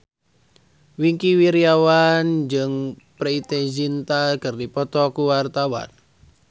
Wingky Wiryawan jeung Preity Zinta keur dipoto ku wartawan